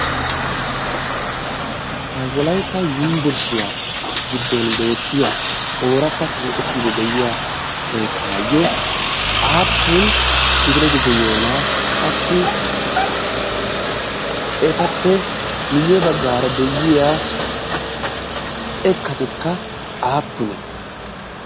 ha wolaytta yumbburshshiyaa giddon beettiya ooratta keetettiidi de'iya keettaayyo aappun kifileti de'iyoonaa qassi etappe miyye baggaara de'iya xeekkatekka aappune